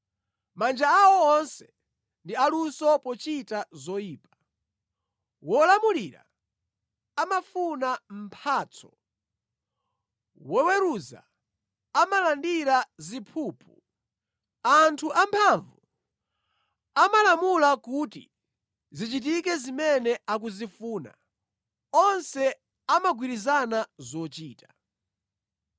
Manja awo onse ndi aluso pochita zoyipa; wolamulira amafuna mphatso, woweruza amalandira ziphuphu, anthu amphamvu amalamula kuti zichitike zimene akuzifuna, onse amagwirizana zochita.